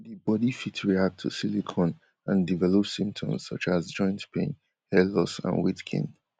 di body fit react to silicone and develop symptoms such as joint pain hair loss and weight gain